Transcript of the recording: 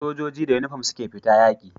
Sojoji da inufom suke fita yaki